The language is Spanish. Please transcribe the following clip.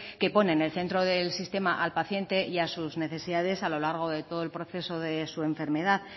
que pone en el centro del sistema al paciente y a sus necesidades a lo largo de todo el proceso de su enfermedad